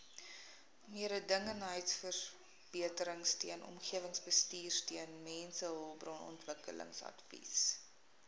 mededingendheidsverbeteringsteun omgewingsbestuursteun mensehulpbronontwikkelingsadvies